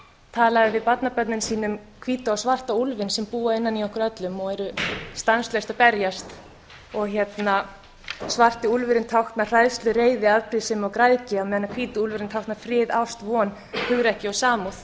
talaði við barnabörnin sín um hvíta og svarta úlfinn sem búa innan í okkur öllum og eru stanslaust að berjast svarti úlfurinn táknar hræðslu reiði afbrýðisemi og græðgi meðan sá hvíti táknar frið ást von hugrekki og samúð